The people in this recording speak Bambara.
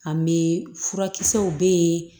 An bɛ furakisɛw bɛ yen